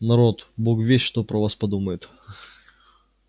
народ бог весть что про вас подумает